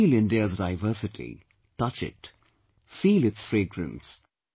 We should feel India's diversity, touch it, feel its fragrance